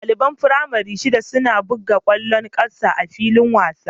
Ɗaliban firamare shida suna buga ƙwallon ƙafa a filin wasa